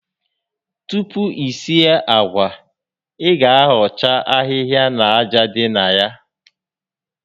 Tupu i sie àgwà, ị ga ahọcha ahịhịa na aja dị na ya